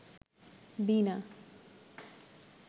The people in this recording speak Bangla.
বিনা